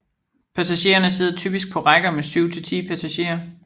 Passagererne sidder typisk på rækker med syv til 10 passagerer